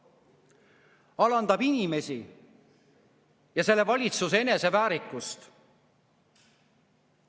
See alandab inimesi ja selle valitsuse eneseväärikust.